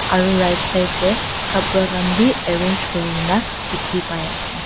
aro right side de kapra khan b arrange kuri na dikhi pai ase.